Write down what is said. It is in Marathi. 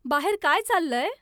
बाहेर काय चाललंय ?